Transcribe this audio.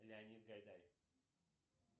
леонид гайдай